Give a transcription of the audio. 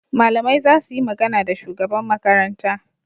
Malamai za su yi magana da shugaban Makaranta.